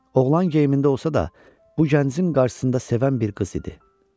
Oğlan geyimində olsa da, bu gəncin qarşısında sevən bir qız idi.